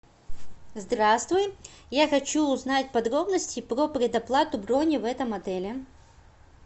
здравствуй я хочу узнать подробности про предоплату брони в этом отеле